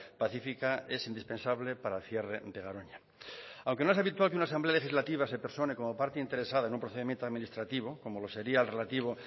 pacífica es indispensable para el cierre de garoña aunque no es habitual que una asamblea legislativa se persone como parte interesada en un procedimiento administrativo como lo sería el relativo